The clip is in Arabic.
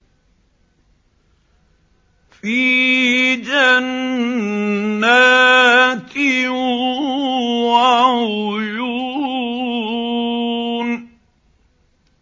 فِي جَنَّاتٍ وَعُيُونٍ